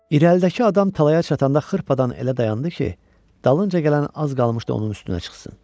İrəlidəki adam talaya çatanda xırpadan elə dayandı ki, dalınca gələn az qalmışdı onun üstünə çıxsın.